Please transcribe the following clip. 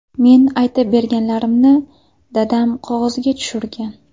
Men aytib berganlarimni, dadam qog‘ozga tushirgan.